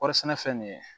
Kɔɔri sɛnɛfɛn nin ye